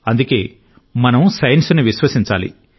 అందుకే మనం సైన్స్ ను విశ్వసించాలి